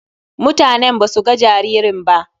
Mutanen ba su ga jaririn ba.